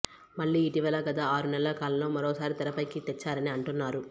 మళ్లీ ఇటీవల గత ఆరు నెలల కాలంలో మరోసారి తెర పైకి తెచ్చారని అంటున్నారు